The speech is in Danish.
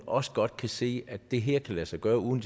også godt kan se at det her kan lade sig gøre uden